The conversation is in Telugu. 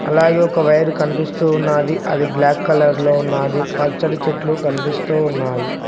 అలాగే ఒక వైర్ కనిపిస్తూ ఉన్నాది అది బ్లాక్ కలర్ లో ఉన్నాది పచ్చడి చెట్లు కనిపిస్తూ ఉన్నాయి.